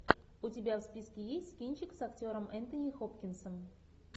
у тебя в списке есть кинчик с актером энтони хопкинсом